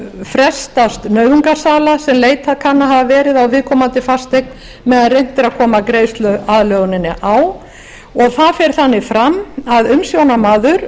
frestast nauðungarsala sem leitað kann að hafa verið á viðkomandi fasteign á meðan reynt er að koma greiðsluaðlöguninni á og það fer þannig fram að umsjónarmaður